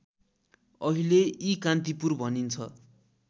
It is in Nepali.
अहिले इकान्तिपुर भनिन्छ